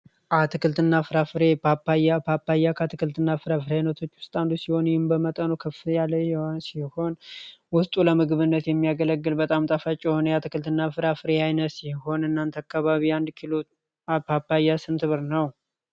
አትክልትና ፍራፍሬ ፓፓያ፣ ፓፓያ ከአትክልትና ፍራፍሬ ዐይነቶች ውስጥ አንዱ ሲሆን ይህም በመጠኑ ከፍ ያለ ሲሆን ውስጡ ለምግብነት የሚያገለግል በጣም ጣፋጭ የሆነ የአትክልትና ፍራፍሬ አይነት ሲሆን እናንተ አካባቢ አንድ ኪሎ ፓፓያ ስንት ብር ነው?